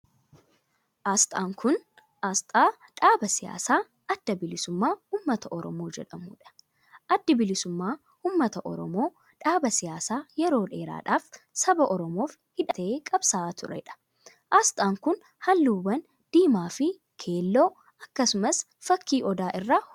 Asxaan kun, asxaa dhaaba siyaasaa Adda Bilisummaa Ummata Oromoo jedhamuu dha. Addi Bilisummaa Ummata Oromoo dhaaba siyaasaa yeroo dheeraadhaaf saba Oromoof hidhatee qabsa'aa turee dha. Asxaan kun, haalluuwwan diimaa fi keelloo akkasumas fakkii odaa irraa hojjatame.